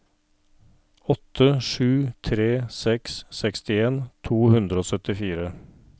åtte sju tre seks sekstien to hundre og syttifire